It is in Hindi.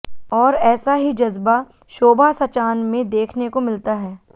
ओर ऐसा ही जज्बा शोभा सचान में देखने को मिलता है